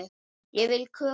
Ég vil kökur.